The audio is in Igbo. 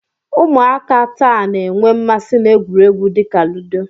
Ụmụaka taa na-enwe mmasị na egwuregwu dị ka ludo.